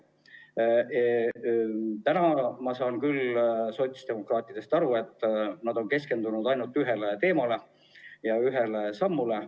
Ma saan aru, et sotsiaaldemokraadid on keskendunud ainult ühele teemale ja ühele sammule.